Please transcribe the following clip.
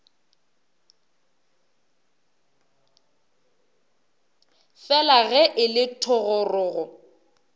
fela ge e le thogorogo